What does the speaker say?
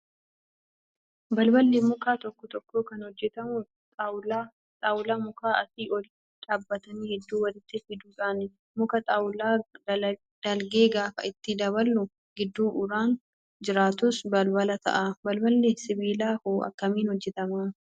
Balballi mukaa tokko tokko kan hojjatamu xaawulaa mukaa asii ol dhaabbatan hedduu walitti fiduudhaan muka xaawulaa dalgee gaafa itti daballu gidduu uraan jiraatus balbala ta'a. Balballi sibiilaa hoo akkamiin hojjatamaa?